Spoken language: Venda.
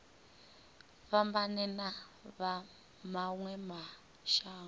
fhambane na vha mawe mashango